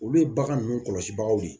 Olu ye bagan ninnu kɔlɔsibagaw ye